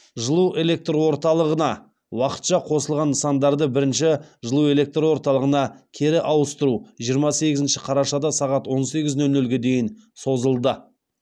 жылу электр орталығына уақытша қосылған нысандарды бірінші жылу электр орталығына кері ауыстыру жиырма сегізінші қарашада сағат он сегіз нөл нөлге дейін созылды